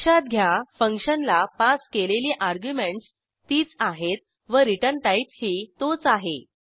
लक्षात घ्या फंक्शनला पास केलेली अर्ग्युमेंटस तीच आहेत व रिटर्न टाईपही तोच आहे